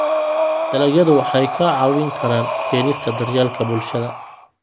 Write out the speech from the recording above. Dalagyadu waxay kaa caawin karaan keenista daryeelka bulshada.